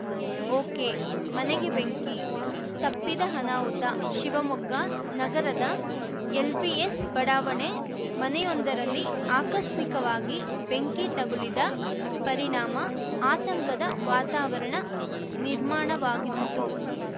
ಒಕೆಮನೆಗೆ ಬೆಂಕಿ ತಪ್ಪಿದ ಅನಾಹುತ ಶಿವಮೊಗ್ಗ ನಗರದ ಎಲ್‌ಬಿಎಸ್‌ ಬಡಾವಣೆ ಮನೆಯೊಂದರಲ್ಲಿ ಆಕಸ್ಮಿಕವಾಗಿ ಬೆಂಕಿ ತಗುಲಿದ ಪರಿಣಾಮ ಆತಂಕದ ವಾತಾವರಣ ನಿರ್ಮಾಣವಾಗಿತ್ತು